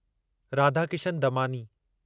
Radhakishan Damani